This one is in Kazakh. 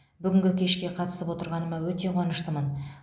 бүгінгі кешке қатысып отырғаныма өте қуаныштымын